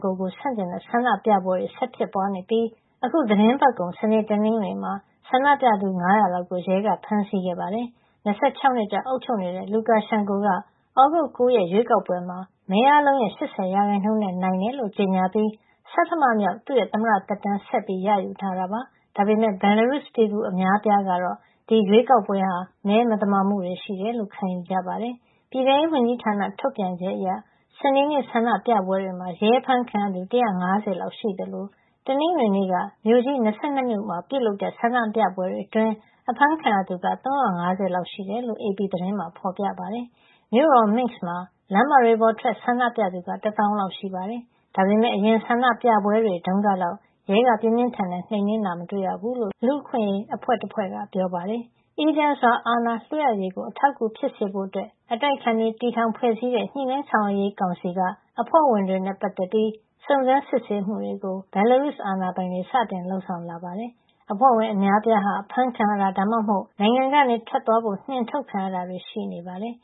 ကို ဆန့်ကျင်တဲ့ ဆန္ဒပြပွဲတွေ ဆက်လက်ဖြစ်ပွါး နေပြီး အခုသီတင်းပတ်ကုန် စနေ၊ တနင်္ဂနွေမှာ ဆန္ဒပြသူ ၅၀၀ လောက် ကို ရဲကဖမ်းဆီးခဲ့ပါတယ်။၂၆ နှစ်ကြာ အုပ်ချုပ်နေတဲ့ Lukashenko က သြဂုတ်လ ၉ ရက်ရွေးကောက်ပွဲမှာ မဲအားလုံးရဲ့ ၈၀ ရာခိုင်နှုန်းနဲ့ အနိုင်ရတယ်လို့ ကြေညာပြီး ဆဌမမြောက် သမ္မတသက်တမ်းကို ဆက်လက်ရယူထားတာပါ။ ဒါပေမယ့် Belarus ပြည်သူအများအပြားကတော့ ဒီရွေးကောက်ပွဲဟာ မဲမသမာမှုတွေ ရှိတယ်လို့ ခံယူထားကြပါတယ်။ ပြည်ထဲရေးဝန်ကြီးဌာနထုတ်ပြန်ချက်အရ စနေနေ့ဆန္ဒပြပွဲတွေမှာ ရဲအဖမ်းခံရသူ ၁၅၀ လောက်ရှိသလို တနင်္ဂနွေနေ့က မြို့ကြီး ၂၂ မြို့မှာ ပြုလုပ်တဲ့ ဆန္ဒပြပွဲတွေ အတွင်း အဖမ်းခံရသူ ၃၅၀ လောက်ရှိတယ်လို့ AP သတင်းမှာ ဖေါ်ပြထားပါတယ်။ မြို့တော် Minsk မှာ လမ်းမတွေပေါ်ထွက် ဆန္ဒပြသူက တသောင်းလောက် ရှိပါတယ်။ ဒါပေမယ့် အရင်ဆန္ဒပြပွဲတွေတုန်းကလောက် ရဲက ပြင်းပြင်းထန်ထန် နှိမ်းနင်းတာ မတွေ့ရဘူးလို့ လူ့အခွင့်ရေး အဖွဲ့တဖွဲ့က ပြောပါတယ်။ အေးချမ်းစွာ အာဏာလွှဲအပ်ရေးကို အထောက်အကူဖြစ်စေဖို့ အတိုက်အခံတွေ တည်ထောင်ဖွဲ့စည်းတဲ့ ညှိနှိုင်းဆောင်ရွက်ရေးကောင်စီ က အဖွဲ့ဝင်တွေနဲ့ပတ်သက်ပြီး စုံစမ်းစစ်ဆေးမှုတွေကို Belarus အာဏာပိုင်တွေ စတင်လုပ်ဆောင်လာပါတယ်။ဒီအဖွဲ့ဝင် အများအပြားဟာ အဖမ်းခံရတာ ဒါမှမဟုတ် နိုင်ငံကနေ ထွက်သွားဖို့ နှင်အထုတ်ခံရတာတွေ ရှိနေတယ်